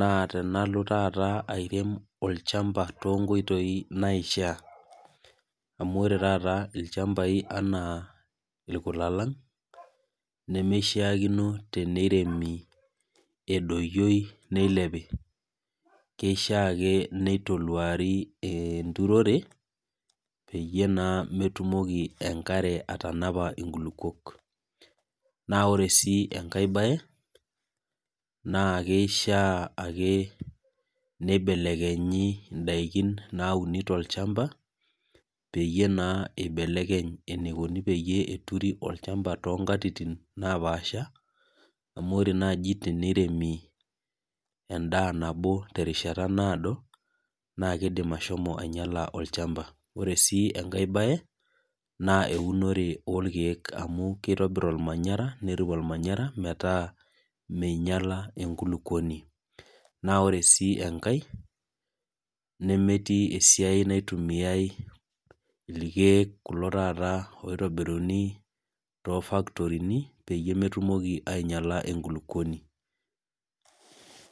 naa tenalo taata airem olchamba toonkoitoi naishaa, amu ore taata ilchambai anaa ilkulalang' nemeishaakinoi neiremi edoyioi neilepi , keishaa ake neitoluari enturore, peyie naa metumoki enkare atanapa iinkulukwok. Naa ore sii enkai baye, naa keishaa ake neibelekenyi indaikin nauni tolchamba, peyie naa eibelekeny eneikuni peyie eturi olchamba too inkatitin napaasha, amu ore naaji teneiremi endaa nabo terishata naado, naa keidim ashomo ainyala olchampa. Ore sii enkai baye, naa eunore oolkeek amu keitobir olmanyara metaa meinyala enkulukuoni. Naa ore sii enkai neetii esiai naitumiyai ilkeek, kulo taata oitobiruni toofaktorin peyie metumoki ainyala enkulukuoni.